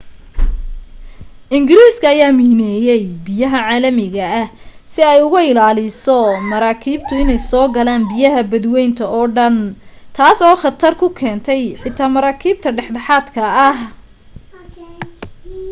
ingiriiska ayaa miineeyay biyaha caalamiga ah si ay uga ilaaliso maraakiibtu inay soo galaan biyaha badwaynta oo dhan taas oo khatar ku keentay xitaa maraakiibta dhexdhexaadka ah